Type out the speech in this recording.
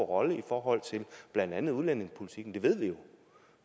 rolle i forhold til blandt andet udlændingepolitikken det ved vi